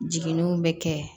Jiginniw bɛ kɛ